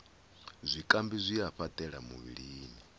zwikambi zwi a fhaṱela muvhilini